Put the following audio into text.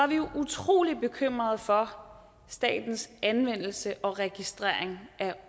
vi jo er utrolig bekymrede for statens anvendelse og registrering af